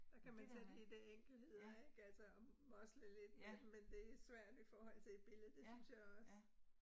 Der kan man tage de der enkeltheder ik altså og mosle lidt med dem, men det svært i forhold til et billede, det synes jeg også